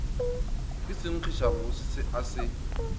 ka senkgišabose se a se